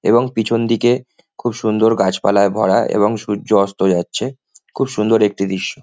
এবং পিছন দিকে খুব সুন্দর গাছপালায় ভরা এবং সূর্য অস্ত যাচ্ছে। খুব সুন্দর একটি দৃশ্য।